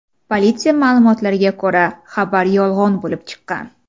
Politsiya ma’lumotlariga ko‘ra, xabar yolg‘on bo‘lib chiqqan.